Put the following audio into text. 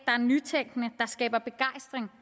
er nytænkende der skaber begejstring